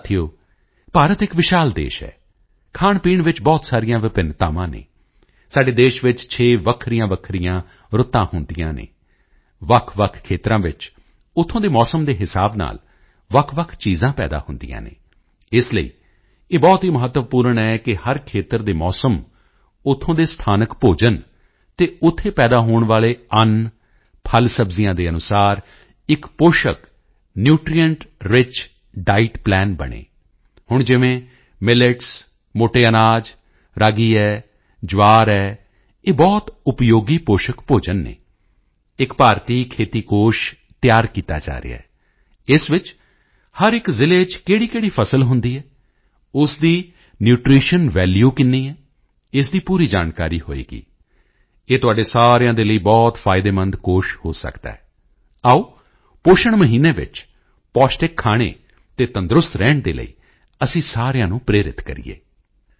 ਸਾਥੀਓ ਭਾਰਤ ਇੱਕ ਵਿਸ਼ਾਲ ਦੇਸ਼ ਹੈ ਖਾਣਪੀਣ ਵਿੱਚ ਬਹੁਤ ਸਾਰੀਆਂ ਵਿਭਿੰਨਤਾਵਾਂ ਹਨ ਸਾਡੇ ਦੇਸ਼ ਵਿੱਚ 6 ਵੱਖਰੀਆਂਵੱਖਰੀਆਂ ਰੁੱਤਾਂ ਹੁੰਦੀਆਂ ਹਨ ਵੱਖਵੱਖ ਖੇਤਰਾਂ ਵਿੱਚ ਉੱਥੋਂ ਦੇ ਮੌਸਮ ਦੇ ਹਿਸਾਬ ਨਾਲ ਵੱਖਵੱਖ ਚੀਜ਼ਾਂ ਪੈਦਾ ਹੁੰਦੀਆਂ ਹਨ ਇਸ ਲਈ ਇਹ ਬਹੁਤ ਹੀ ਮਹੱਤਵਪੂਰਣ ਹੈ ਕਿ ਹਰ ਖੇਤਰ ਦੇ ਮੌਸਮ ਉੱਥੋਂ ਦੇ ਸਥਾਨਕ ਭੋਜਨ ਅਤੇ ਉੱਥੇ ਪੈਦਾ ਹੋਣ ਵਾਲੇ ਅੰਨ ਫਲਸਬਜ਼ੀਆਂ ਦੇ ਅਨੁਸਾਰ ਇੱਕ ਪੋਸ਼ਕ ਨਿਊਟ੍ਰੀਐਂਟ ਰਿਚ ਡਾਇਟ ਪਲਾਨ ਬਣੇ ਹੁਣ ਜਿਵੇਂ ਮਿਲੇਟਸ ਮੋਟੇ ਅਨਾਜ ਰਾਗੀ ਹੈ ਜਵਾਰ ਹੈ ਇਹ ਬਹੁਤ ਉਪਯੋਗੀ ਪੋਸ਼ਕ ਭੋਜਨ ਹਨ ਇੱਕ ਭਾਰਤੀ ਖੇਤੀ ਕੋਸ਼ ਤਿਆਰ ਕੀਤਾ ਜਾ ਰਿਹਾ ਹੈ ਇਸ ਵਿੱਚ ਹਰ ਇੱਕ ਜ਼ਿਲ੍ਹੇ ਚ ਕਿਹੜੀਕਿਹੜੀ ਫਸਲ ਹੁੰਦੀ ਹੈ ਉਸ ਦੀ ਨਿਊਟ੍ਰੀਸ਼ਨ ਵੈਲੂ ਕਿੰਨੀ ਹੈ ਇਸ ਦੀ ਪੂਰੀ ਜਾਣਕਾਰੀ ਹੋਵੇਗੀ ਇਹ ਤੁਹਾਡੇ ਸਾਰਿਆਂ ਦੇ ਲਈ ਬਹੁਤ ਫਾਇਦੇਮੰਦ ਕੋਸ਼ ਹੋ ਸਕਦਾ ਹੈ ਆਓ ਪੋਸ਼ਣ ਮਹੀਨੇ ਵਿੱਚ ਪੌਸ਼ਟਿਕ ਖਾਣੇ ਅਤੇ ਤੰਦਰੁਸਤ ਰਹਿਣ ਦੇ ਲਈ ਅਸੀਂ ਸਾਰਿਆਂ ਨੂੰ ਪ੍ਰੇਰਿਤ ਕਰੀਏ